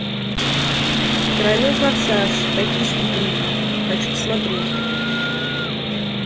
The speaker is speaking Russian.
тройной форсаж токийский дрифт хочу посмотреть